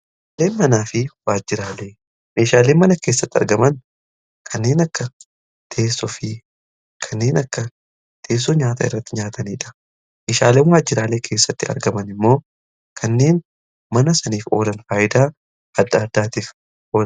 Meeshaale manaa fi waajjiraalee: Meeshaalee mana keessatti argaman kanneen akka teessoo fi kanneen akka teessoo nyaata irratti nyaataniidha. Meeshaaleen waajjiraalee keessatti argaman immoo kanneen mana saniif oolan faayidaa adda addaatiif olan.